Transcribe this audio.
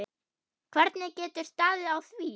Hvernig getur staðið á því.